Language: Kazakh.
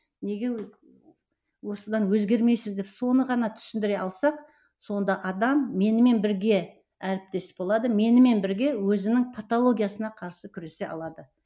неге осыдан өзгермейсіз деп соны ғана түсіндіре алсақ сонда адам менімен бірге әріптес болады менімен бірге өзінің патологиясына қарсы күресе алады